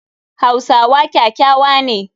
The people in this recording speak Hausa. Hausawa kyakyawa ne.